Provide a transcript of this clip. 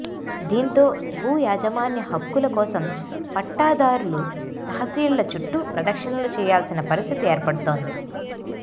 దీంతో భూ యాజమాన్య హక్కుల కోసం పట్టాదారులు తహసీళ్ల చుట్టూ ప్రదక్షిణలు చేయాల్సిన పరిస్థితి ఏర్పడుతోంది